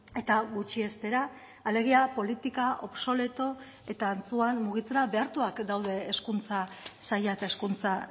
eta gutxiestera alegia politika obsoleto eta antzuan mugitzera behartuak daude hezkuntza saila eta hezkuntza